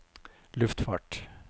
luftfart